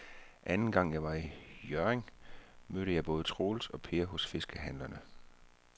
Anden gang jeg var i Hjørring, mødte jeg både Troels og Per hos fiskehandlerne.